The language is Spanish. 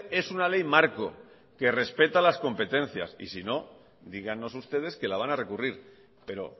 es una ley marco que respeta las competencias y si no dígannos ustedes que la van a recurrir pero